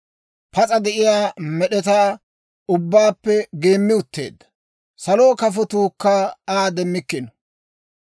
Pas'a de'iyaa med'etaa ubbaappe geemmi utteedda; saluwaa kafotuukka Aa demmikkino.